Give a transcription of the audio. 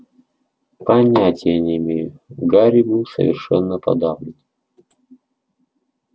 понятия не имею гарри был совершенно подавлен